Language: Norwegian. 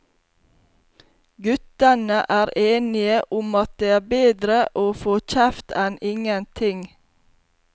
Guttene er enige om at det er bedre å få kjeft enn ingenting.